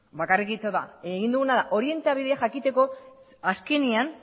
bakarrik egin duguna da orientabidea jakiteko azkenean